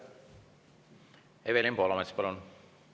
Evelin Poolamets, palun!